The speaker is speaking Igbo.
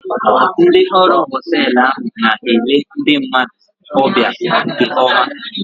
Ndị ọrụ họteelụ ahụ na-ele ndị mmadụ ọbịa nke oma